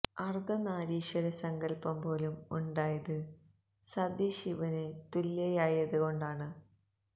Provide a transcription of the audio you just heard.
അർധ നാരീശ്വര സങ്കൽപ്പം പോലും ഉണ്ടായത് സതി ശിവന് തുല്യയായത് കൊണ്ടാണ്